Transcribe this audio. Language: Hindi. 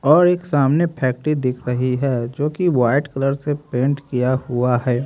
और एक सामने फैक्ट्री दिख रही है जो कि व्हाइट कलर से पेंट किया हुआ है।